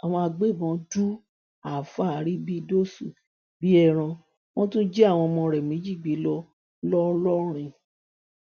àwọn agbébọn du àáfàá arìbìdésì bíi ẹran wọn tún jí àwọn ọmọ rẹ méjì gbé lọ ńlọrọrìn